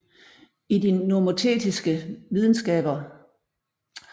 I de nomotetiske videnskaber er det universelle i fokus